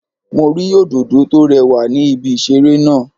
Mo rí Òdòdó tó rewà ní ibi ìṣeré náà